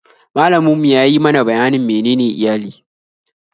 Malamin mu ya yi mana bayanin menene iyali